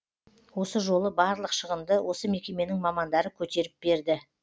осы жолы барлық шығынды осы мекеменің мамандары көтеріп берді